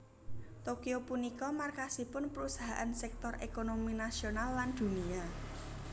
Tokyo punika markasipun perusahaan sektor ékonomi nasional lan dunia